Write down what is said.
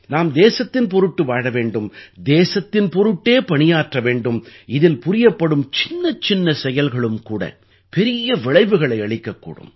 நாம் தேசத்தின் பொருட்டு வாழ வேண்டும் தேசத்தின் பொருட்டே பணியாற்ற வேண்டும் இதில் புரியப்படும் சின்னச்சின்ன செயல்களும் கூட பெரிய விளைவுகளை அளிக்கக்கூடும்